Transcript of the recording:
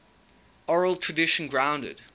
oral tradition grounded